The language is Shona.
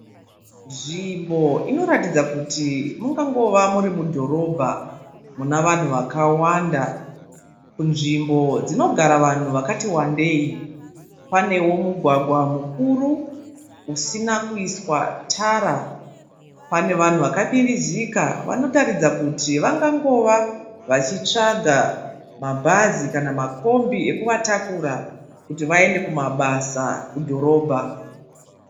Nzvimbo inoratidza kuti mungangova muri mudhorobha muna vanhu vakawanda. Nzvimbo dzinogara vanhu vakati wandei. Panewo mugwagwa mukuru usina kuiswa tara, pane vanhu vakamirizika vanotaridza kuti vangangova vachitsvaga mabhazi kana makombi ekuvatakura kuti vaende kumabasa kudhorobha